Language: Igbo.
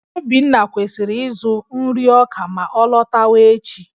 Obinna kwesịrị ịzụ nri ọka ma ọ lọtawa echi